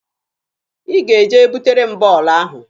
Ị ga-eje butere m bọọlụ ahụ!